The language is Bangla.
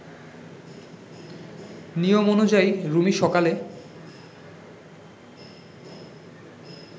নিয়ম অনুযায়ী রুমি সকালে